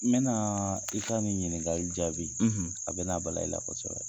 N bɛna i ka nin ɲiningali jaabi a bɛna bala i la kosɛbɛ.